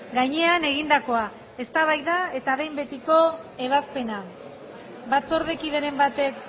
gainean egindakoa eztabaida eta behin betiko ebazpena batzordekideren batek